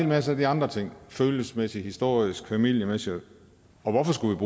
masse af de andre ting følelsesmæssige historiske familiemæssige og hvorfor skulle